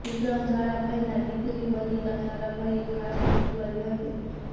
વિક્રમ સારાભાઇના દીકરી મલ્લિકા સારાભાઇ એ ખાસ ટ્વીટ કરી હતી